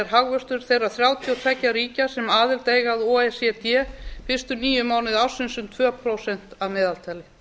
hagvöxtur þeirra þrjátíu og tveggja ríkja sem aðild eiga að o e c d fyrstu níu mánuði ársins um tvö prósent að meðaltali